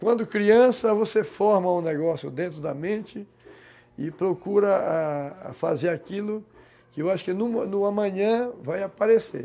Quando criança, você forma um negócio dentro da mente e procura fazer aquilo que eu acho que no no amanhã vai aparecer.